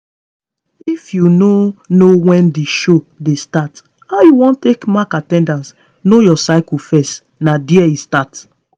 if you no know when the show dey start how you wan take mark at ten dance? know your cycle first na there e start